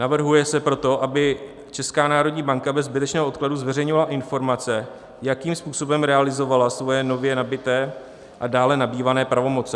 Navrhuje se proto, aby Česká národní banka bez zbytečného odkladu zveřejňovala informace, jakým způsobem realizovala svoje nově nabyté a dále nabývané pravomoci.